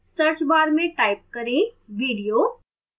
search bar में type करें video